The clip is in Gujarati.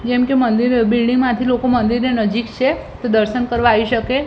જેમકે મંદિર બિલ્ડિંગ માંથી લોકો મંદિરની નજીક છે તો દર્શન કરવા આવી શકે.